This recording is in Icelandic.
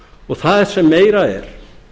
og það sem meira er